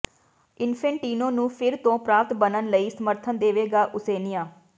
Infantino ਨੂੰ ਫਿਰ ਤੋਂ ਪ੍ਰਧਾਨ ਬਣਨ ਲਈ ਸਮਰਥਨ ਦੇਵੇਗਾ ਓਸੇਨੀਆ